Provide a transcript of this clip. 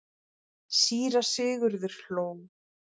Síra Sigurður hló.